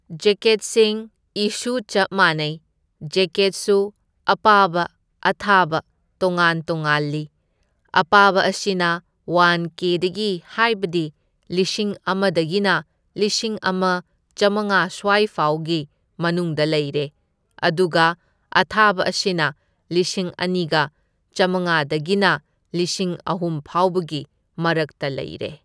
ꯖꯦꯀꯦꯠꯁꯤꯡ ꯑꯤꯁꯨ ꯆꯞ ꯃꯥꯟꯅꯩ, ꯖꯦꯀꯦꯠꯁꯨ ꯑꯄꯥꯕ ꯑꯊꯥꯕ ꯇꯣꯉꯥꯟ ꯇꯣꯉꯥꯜꯂꯤ꯫ ꯑꯄꯥꯕ ꯑꯁꯤꯅ ꯋꯥꯟ ꯀꯦꯗꯒꯤ ꯍꯥꯏꯕꯗꯤ ꯂꯤꯁꯤꯡ ꯑꯃꯗꯒꯤꯅ ꯂꯤꯁꯤꯡ ꯑꯃ ꯆꯥꯝꯃꯉꯥ ꯁ꯭ꯋꯥꯏꯐꯥꯎꯒꯤ ꯃꯅꯨꯡꯗ ꯂꯩꯔꯦ, ꯑꯗꯨꯒ ꯑꯊꯥꯕ ꯑꯁꯤꯅ ꯂꯤꯁꯤꯡ ꯑꯅꯤꯒ ꯆꯥꯝꯃꯉꯥꯗꯒꯤꯅ ꯂꯤꯁꯤꯡ ꯑꯍꯨꯝꯐꯥꯎꯕꯒꯤ ꯃꯔꯛꯇ ꯂꯩꯔꯦ꯫